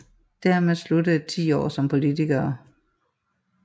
Dermed sluttede 10 år som politiker